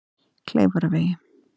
Kleifarvegi